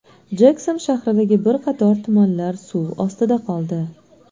Jekson shahridagi bir qator tumanlar suv ostida qoldi.